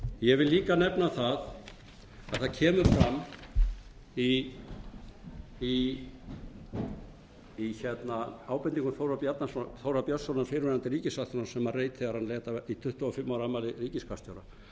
ég vil líka nefna að það kemur fram í ábendingum þórðar björnssonar fyrrverandi ríkissaksóknara sem hann reit þegar hann lét af í tuttugasta og fimmta ára afmæli ríkisskattstjóra